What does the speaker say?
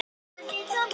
Þetta er ekkert búið